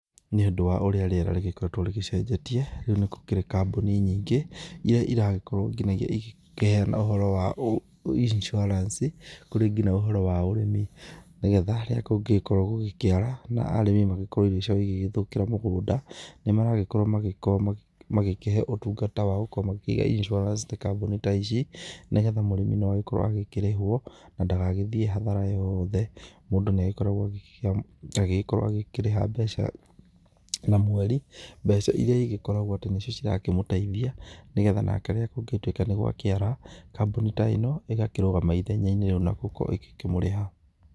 Nĩ ũndũ wa ũrĩa rĩera rĩgĩkoretwo rĩgĩcejetie, rĩũ nĩ gũkĩrĩ kambuni nyingĩ iria iragĩkorwo nginyagia ikĩheana ũhoro wa insurance, kũrĩ nginya ũhoro wa ũrĩmi nĩgetha rĩrĩa kũngĩgĩkorwo gũkĩara na arĩmi magĩkorwo irio ciao igĩthũkĩra mĩgunda nĩ maragĩkorwo magĩkĩhe ũtungata wagũkorwo magĩkigĩa insurance, ta kambuni ta ici, nĩgetha mũrĩmi agĩkorwe agĩkĩrĩhwo na ndagagĩthiĩ hathara yothe. Mũndũ nĩ agĩkoragwo agĩkĩrĩha mbeca na mweri, mbeca iria igĩkoragwa atĩ nĩ cio irakĩmũteithia nĩgetha nake rĩrĩa kũngĩgĩtuĩka nĩ gũakĩra kambuni ta ino ĩgakĩrũgama ithenyainĩ rĩu na ĩgagĩkorwo ĩgĩkĩmũrĩha.